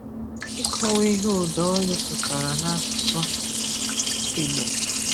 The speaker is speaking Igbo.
Ikọwa ihe ụdaolu pụtara n’asụsụ Igbo.